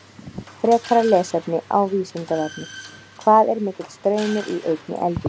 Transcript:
Frekara lesefni á Vísindavefnum: Hvað er mikill straumur í einni eldingu?